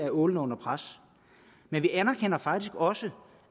ålen er under pres men vi anerkender faktisk også